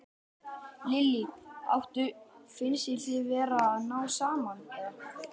Lillý: Áttu, finnst þér þið vera að ná saman, eða?